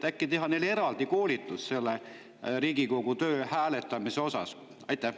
Äkki teha neile eraldi koolitus Riigikogus hääletamise kohta?